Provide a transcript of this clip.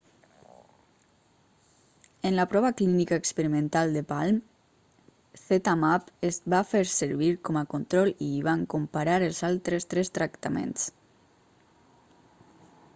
en la prova clínica experimental de palm zmapp es va fer servir com a control i hi van comparar els altres tres tractaments